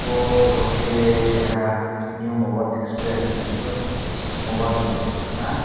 bw photo ke keha new moba express nug pio mobile dogan se ukkana.